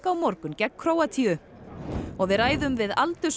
morgun gegn Króatíu og við ræðum við